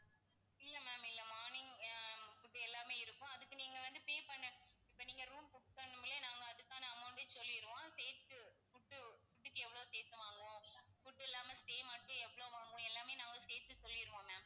இல்ல ma'am இல்ல morning ஆஹ் food எல்லாமே இருக்கும். அதுக்கு நீங்க வந்து pay பண்ணணும். இப்போ நீங்க room book பண்ணக்குள்ளயே நாங்க அதுக்கான amount டயும் சொல்லிருவோம். சேர்த்து food food க்கு எவ்வளவு சேத்து வாங்குவோம் food இல்லாம stay மட்டும் எவ்வளவு வாங்குவோம் எல்லாமே நாங்க சேர்த்து சொல்லிருவோம் ma'am